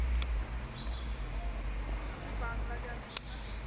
আপনি বাংলা জানেন না?